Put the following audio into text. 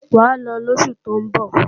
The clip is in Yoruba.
Wàá lọ lósù tó ń bọ̀!